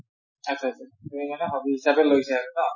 আচ্চা আচ্ছা সেইকাৰণে hobby হিচাপে লৈছে আৰু ন?